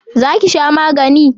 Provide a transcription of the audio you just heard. Za ki sha magani?